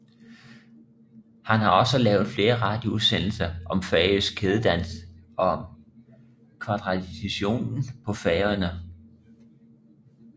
Han har også lavet flere radioudsendelser om færøsk kædedans og om kvadtraditionen på Færøerne